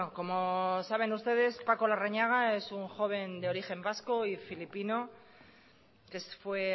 como saben ustedes paco larrañaga es un joven de origen vasco y filipino que fue